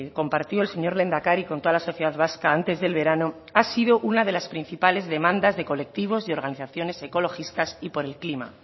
compartió el señor lehendakari con toda la sociedad vasca antes del verano ha sido una de las principales demandas de colectivos y organizaciones ecologistas y por el clima